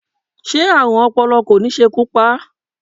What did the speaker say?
Ṣé Ààrùn ọpọlọ kò ní ṣekú pa á?